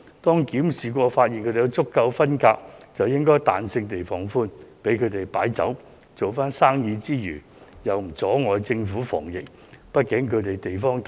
在檢視場所後，如發現有足夠分隔，便應該彈性地放寬，容許酒樓擺酒和做生意，因為這樣不會阻礙政府防疫工作。